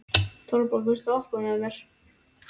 Torbjörg, viltu hoppa með mér?